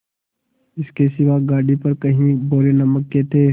इसके सिवा गाड़ी पर कई बोरे नमक के थे